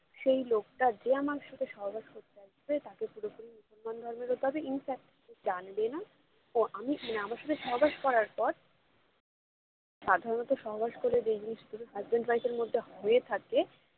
যেই লোকটা যে আমার সাথে সহবাস করতে আসবে তাকে পুরোপুরি মুসলমান ধর্মের হতে হবে infact যে জানবে না ও আমি মানে আমার সাথে সহবাস করার পর সাধারণত সহবাস করে যেই জিনিসগুলো husband -wife এর মধ্যে হয়ে থাকে